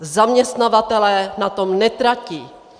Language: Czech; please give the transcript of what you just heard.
Zaměstnavatelé na tom netratí.